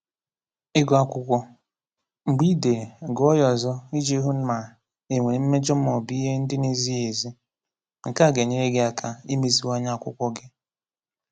Ịgụ Akwụkwọ: Mgbe ị dere, gụọ ya ọzọ iji hụ ma e nwere mmejọ ma ọ bụ ihe ndị na-ezighi ezi. Nke a ga-enyere gị aka imeziwanye akwụkwọ gị.